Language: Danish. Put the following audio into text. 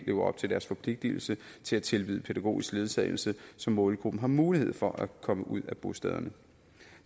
lever op til deres forpligtelse til at tilbyde pædagogisk ledsagelse så målgruppen har mulighed for at komme ud af bostederne